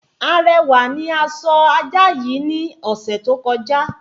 Arẹwà ni a sọ ajá yii ní ọ̀sẹ̀ tó kọjá